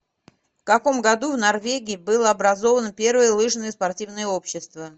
в каком году в норвегии было образовано первое лыжное спортивное общество